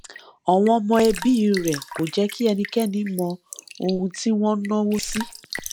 àwọn ọmọ ẹbí rẹ kò jẹ kí ẹnikẹni mọ ohun tí wọn ń náwó sí